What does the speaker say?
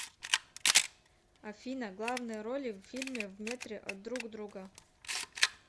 афина главные роли в фильме в метре от друг друга